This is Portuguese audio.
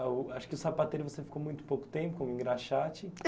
Acho que o sapateiro você ficou muito pouco tempo, engraxate.